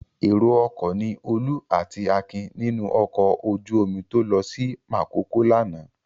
Èrò-ọkọ̀ ni Olú àti Akin nínú ọkọ̀ ojú-omi tó lọ sí Makòko lánàá.